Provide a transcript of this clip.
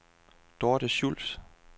Dorte Schultz